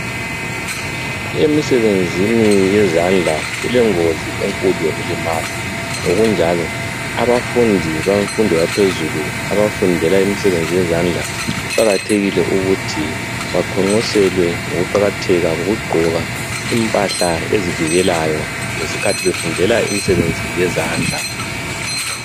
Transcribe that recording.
Emisebenzini yezandla kulengozi enkulu yokulimala ngokunjalo abafundi bemfundo yaphezulu abafundela imisebenzi yezandla kuqakathekile ukuthi baqonqoselwe ngokuqakatheka kokugqoka impahla ezivikelayo ngesikhathi befundela imisebenzi yezandla